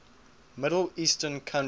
middle eastern countries